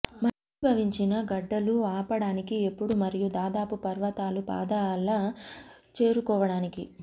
ఘనీభవించిన గడ్డలూ ఆపడానికి ఎప్పుడూ మరియు దాదాపు పర్వతాలు పాదాల చేరుకోవడానికి